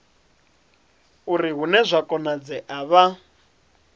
uri hune zwa konadzea vha